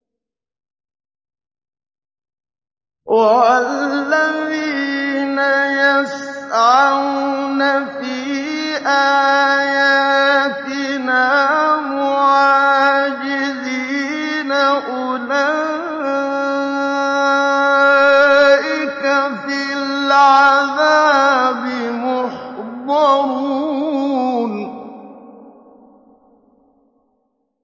وَالَّذِينَ يَسْعَوْنَ فِي آيَاتِنَا مُعَاجِزِينَ أُولَٰئِكَ فِي الْعَذَابِ مُحْضَرُونَ